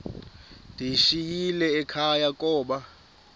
ndiyishiyile ekhaya koba